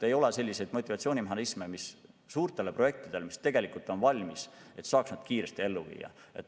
Ei ole selliseid motivatsioonimehhanisme, et suuri projekte, mis tegelikult on valmis, kiiresti ellu viia.